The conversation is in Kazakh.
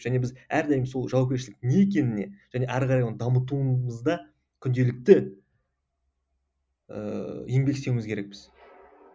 және біз әрдайым сол жауапкершіліктің не екеніне және әрі қарай оның дамытуымызда күнделікті ыыы еңбек істеуіміз керекпіз